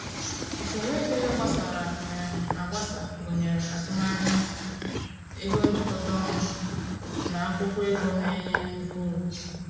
Usoro ego ya gbasara um agbasa gụnyere azụmahịa, ego njikọta ọnụ, na akwụkwọ ego na-enye nnukwu uru.